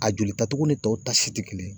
A joli ta togo ni tɔw ta si te kelen ye.